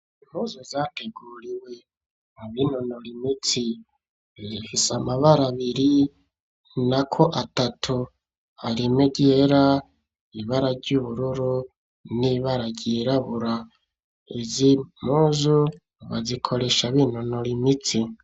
Impuzu zateguriwe mu binonora imitsi zihise amabarabiri na ko atatu arime ryera ibara ry'ubururu n'ibararyirabura izi muzu bazikoresha binonora imitsi.